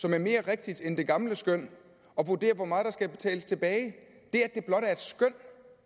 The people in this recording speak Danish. som er mere rigtigt end det gamle skøn og vurdere hvor meget der skal betales tilbage det